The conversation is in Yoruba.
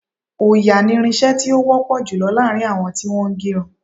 Òòyà ni irin-iṣẹ́ tí ó wọ́ pọ̀ jùlọ láàrin àwọn tí wọ́n ń ge irun.